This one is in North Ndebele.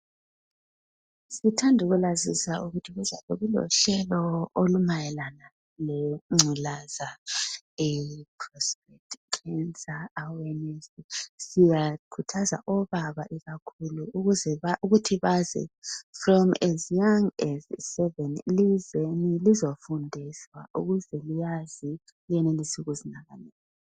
Sithanda ukulazisa ukuthi kuzabe kulohlelo olumayelana lengculaza eye prostate cancer siyakhuthaza obaba ikakhulu ukuthi baze from as young as 7 lizeni lizofundiswa ukuze liyazi lenelise ukuzinakekela.